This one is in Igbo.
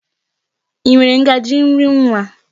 I nwere ngaji nri nwa?